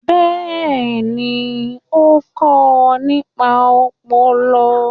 Bẹ́ẹ̀ni, ó kọ nípa ọpọlọ.